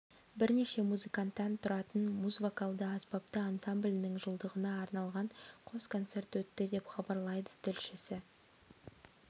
бірнеше музыканттан тұратын муз вокалды аспапты ансамблінің жылдығына арналған қос концерт өтті деп хабарлайды тілшісі